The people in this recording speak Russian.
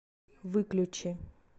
выключи